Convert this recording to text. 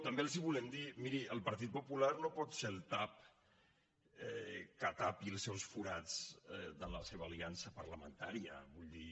també els hi volem dir miri el partit popular no pot ser el tap que tapi els seus forats en la seva aliança parlamentària vull dir